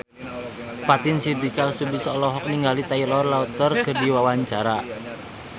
Fatin Shidqia Lubis olohok ningali Taylor Lautner keur diwawancara